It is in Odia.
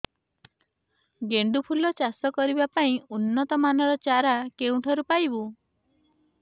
ଗେଣ୍ଡୁ ଫୁଲ ଚାଷ କରିବା ପାଇଁ ଉନ୍ନତ ମାନର ଚାରା କେଉଁଠାରୁ ପାଇବୁ